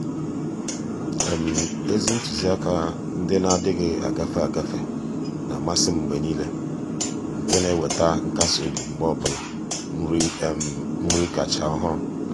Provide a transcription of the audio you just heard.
ézì ntụ́zị́àkà ndị nà-adị́ghị́ ágafe ágafe nà-àmàsị́ m mgbe nìile nke nà-èwétá nkasi obi mgbe ọ bụla nri nri kàchàsị́ ọ́hụ́rụ́.